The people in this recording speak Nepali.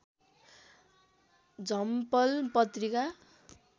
झम्पल पत्रिका